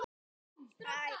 Næstum alveg svört.